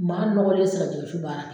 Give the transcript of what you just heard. Maa nɔgɔlen tɛ se ka jɛgɛwusu baara kɛ